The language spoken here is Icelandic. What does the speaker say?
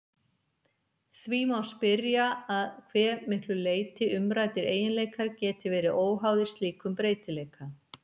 Því má spyrja að hve miklu leyti umræddir eiginleikar geti verið óháðir slíkum breytileika.